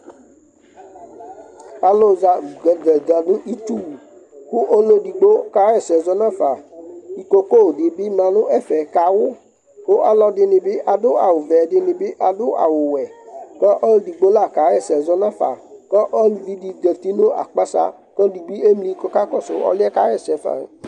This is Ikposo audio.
Alʊ za gɛdɛ ƴa ŋʊ ɩtsʊwʊ Olʊ edigbo kaƴɛsɛ zɔ ŋafa Ƙoƙo dɩɓɩ ma ŋɛfɛ kaƴʊ, ƙʊ alʊ ɛdɩŋɩ ɓɩ adʊ awʊ ʋɛ, ɛdɩŋɩ adʊ awʊ wɛ kʊ olʊ edigbo la ƙaƴɛsɛ zɔ ŋafa, ƙʊ ɔlɔdɩ zatɩ ŋʊ aƙpasa ɛdɩbɩ emlɩ kɔka kɔsʊ ɔlɩɛ kaƴɛsɛfa ƴɛ